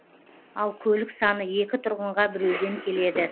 ал көлік саны екі тұрғынға біреуден келеді